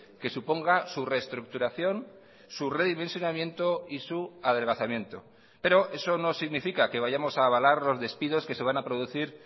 que suponga su reestructuración su redimensionamiento y su adelgazamiento pero eso no significa que vayamos a avalar los despidos que se van a producir